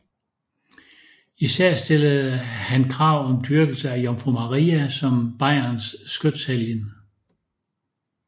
Især stillede han krav om dyrkelse af Jomfru Maria som Bayerns skytshelgen